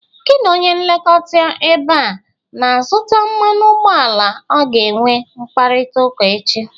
Gi na onye nlekọta ebe a na-azụta mmanụ ụgbọala ọ ga-enwe mkpariịaụka echi?